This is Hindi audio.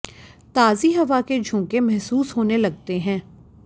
ताज़ी हवा के झोंके महसूस होने लगते हैं